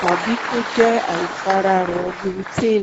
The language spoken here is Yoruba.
tàbí kó jẹ́ àìfararọ gluten